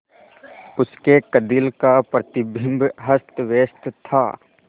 उसके कंदील का प्रतिबिंब अस्तव्यस्त था